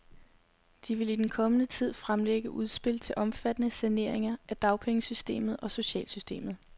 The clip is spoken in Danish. De vil i den kommende tid fremlægge udspil til omfattende saneringer af dagpengesystemet og socialsystemet.